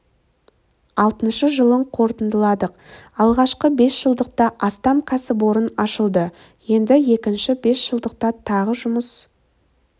алтыншы жылын қорытындыладық алғашқы бес жылдықта астам кәсіпорын ашылды енді екінші бес жылдықта тағы жұмыс